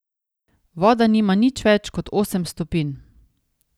Voda nima nič več kot osem stopinj...